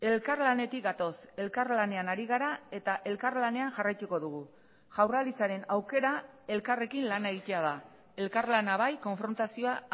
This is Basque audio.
elkarlanetik gatoz elkarlanean ari gara eta elkarlanean jarraituko dugu jaurlaritzaren aukera elkarrekin lan egitea da elkarlana bai konfrontazioa